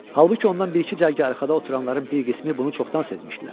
Halbuki ondan bir-iki cərgə arxada oturanların bir qismi bunu çoxdan sezmişdilər.